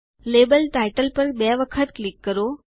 label title પર બે વખત ક્લિક કરો